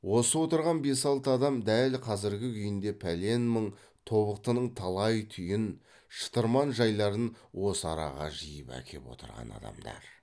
осы отырған бес алты адам дәл қазіргі күйінде пәлен мың тобықтының талай түйін шытырман жайларын осы араға жиып әкеп отырған адамдар